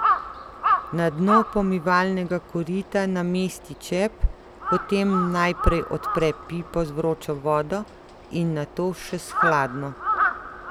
Na dno pomivalnega korita namesti čep, potem najprej odpre pipo z vročo vodo in nato še s hladno.